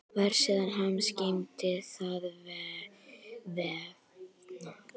Vefsíða hans geymir þann vefnað.